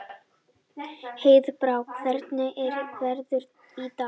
Heiðbrá, hvernig er veðrið í dag?